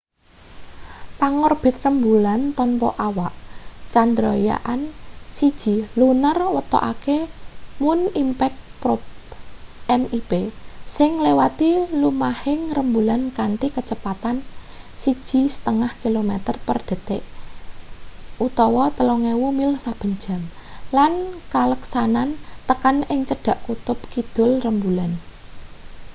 pangorbit rembulan tanpa awak chandrayaan-1 lunar wetokake moon impact probe mip sing nglewati lumahing rembulan kanthi kacepatan 1,5 kilometer per detik 3000 mil saben jam lan kaleksanan tekan ing cedhak kutub kidul rembulan